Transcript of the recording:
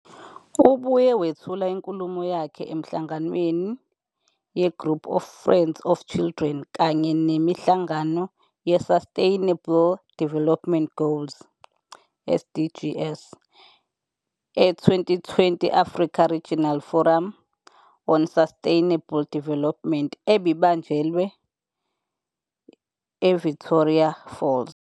Ubuye wethula inkulumo yakhe emihlanganweni yeGroup of Friends of Children kanye nemihlangano ye-Sustainable Development Goals, SDGs, e-2020 Africa Regional Forum on Sustainable Development ebibanjelwe IVictoria Falls.